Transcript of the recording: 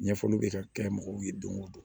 Ɲɛfɔliw bɛ ka kɛ mɔgɔw ye don o don